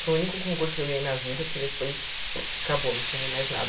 Foi o único concurso que eu ganhei na vida, porque depois acabou, não ganhei mais nada.